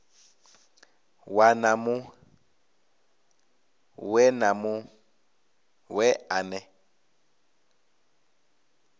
ṅwana muṅwe na muṅwe ane